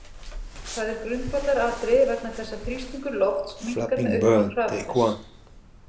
Það er grundvallaratriði vegna þess að þrýstingur lofts minnkar með auknum hraða þess.